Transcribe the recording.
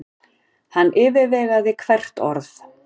Hann yfirvegaði hvert orð.